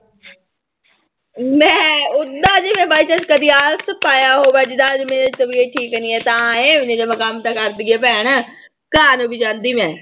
ਲੈਂ ਓਦਾਂ ਨੀ ਮੈਂ by chance ਕਦੇ ਆਲਸ ਪਾਇਆ ਹੋਊਗਾ ਜਿੱਦਾਂ ਜੇ ਮੇਰੀ ਤਬੀਅਤ ਠੀਕ ਨੀ ਹੈ ਤਾਂ ਹੈ ਨਹੀਂ ਤਾਂ ਮੈਂ ਕੰਮ ਤਾਂ ਕਰਦੀ ਹਾਂ ਭੈਣ, ਘਰ ਵੀ ਜਾਂਦੀ ਮੈਂ।